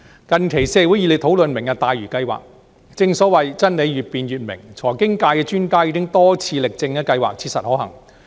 近期社會熱烈討論"明日大嶼"計劃，正所謂真理越辯越明，財經界的專家已經多次力證計劃切實可行。